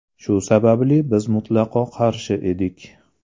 Shu sababli biz mutlaqo qarshi edik.